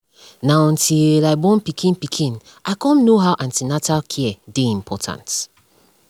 na until i born pikin pikin i cum know how an ten atal care dey important